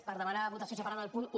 per demanar votació separada del punt un